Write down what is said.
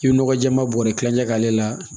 I bɛ nɔgɔ jɛɛma bɔrɛ kilancɛ k'ale la